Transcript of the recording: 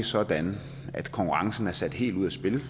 sådan at konkurrencen er sat helt ud af spil